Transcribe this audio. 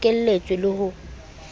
se bo bokeletswe le ho